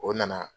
O nana